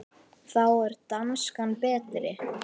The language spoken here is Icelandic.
Þá er danskan betri.